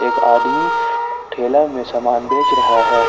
एक आदमी ठेला में सामान बेच रहा है।